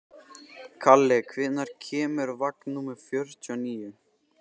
Kalli, hvenær kemur vagn númer fjörutíu og níu?